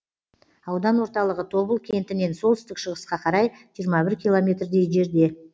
аудан орталығы тобыл кентінен солтүстік шығысқа қарай жиырма бір километрдей жерде